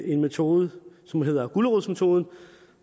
en metode som hedder gulerodsmetoden